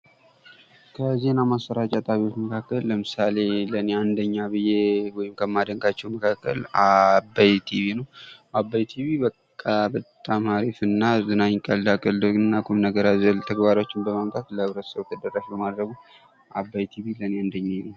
ከዜና ማሰራጫ ጣቢያዎች መካከል ለምሳሌ ለእኔ አንደኛ ብዬ ወይም ከማደንቃቸው መካከል አባይ ቲቪ ነው ። አባይ ቲቪ በቃ በጣም አሪፍ እና አዝናኝ ቀልዳቀልድ እና ቁምነገር አዘል ተግባሮችን በማምጣት ለህብረተሰቡ ተደራሽ በማድረጉ አባይ ቲቪ ለእኔ አንደኛየ ነው ።